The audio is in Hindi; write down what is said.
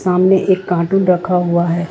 एक कार्टून रखा हुआ है।